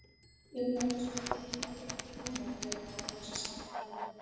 inn var hinsvegar kominn hálfur undir brúna þegar ég náði loks sambandi við hann.